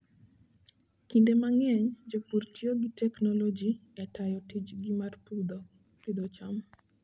Kinde mang'eny, jopur tiyo gi teknoloji e tayo tijgi mar pidho cham.